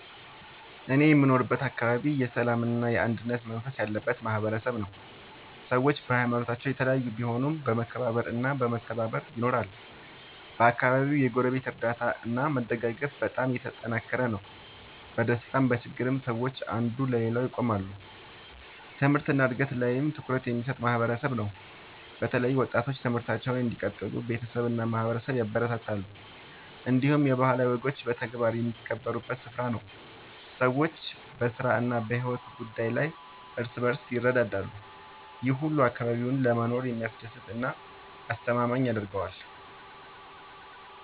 እኔ የምኖርበት አካባቢ የሰላምና የአንድነት መንፈስ ያለበት ማህበረሰብ ነው። ሰዎች በሀይማኖታቸው የተለያዩ ቢሆኑም በመከባበር እና በመተባበር ይኖራሉ። በአካባቢው የጎረቤት እርዳታ እና መደጋገፍ በጣም የተጠናከረ ነው። በደስታም በችግርም ሰዎች አንዱ ለሌላው ይቆማሉ። ትምህርት እና እድገት ላይም ትኩረት የሚሰጥ ማህበረሰብ ነው። በተለይ ወጣቶች ትምህርታቸውን እንዲቀጥሉ ቤተሰብ እና ማህበረሰብ ያበረታታሉ። እንዲሁም የባህላዊ ወጎች በተግባር የሚከበሩበት ስፍራ ነው። ሰዎች በስራ እና በሕይወት ጉዳይ ላይ እርስ በርስ ይረዳዳሉ። ይህ ሁሉ አካባቢውን ለመኖር የሚያስደስት እና የሚያስተማማኝ ያደርገዋል።